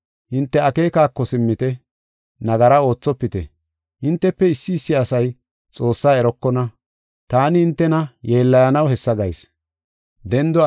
Hinte akeekako simmite. Nagara oothopite. Hintefe issi issi asay Xoossaa erokona. Taani hintena yeellayanaw hessa gayis.